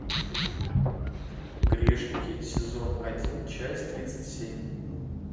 грешники сезон один часть тридцать семь